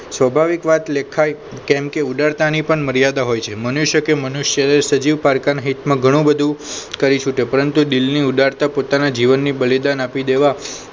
સ્વાભાવિક વાત લેખાય કેમ કે ઉદરતાની પણ મર્યાદા હોય છે મનુષ્ય કે મનુષ્યને સજીવ પારકા ના હિતમાં ઘણું બધું કરી છૂટે પરંતુ દિલની ઉદારતા પોતાના જીવનની બલિદાન આપી દેવા